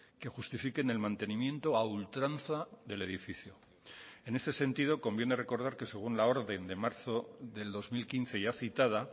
que justifiquen el mantenimiento a ultranza del edificio en este sentido conviene recordar que según la orden de marzo del dos mil quince ya citada